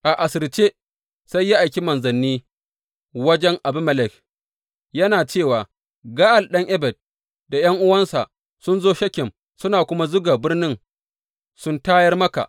Asirce sai ya aiki manzanni wajen Abimelek, yana cewa, Ga’al ɗan Ebed da ’yan’uwansa sun zo Shekem suna kuma zuga birnin sun tayar maka.